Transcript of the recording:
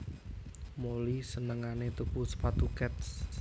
Molly senengane tuku sepatu Keds